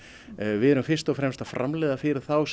við erum fyrst og fremst að framleiða fyrir þá sem